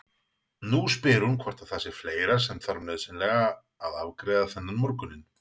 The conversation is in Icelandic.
Nú spyr hún hvort það sé fleira sem þarf nauðsynlega að afgreiða þennan morguninn.